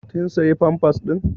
Ƙin siya pampas ɗin?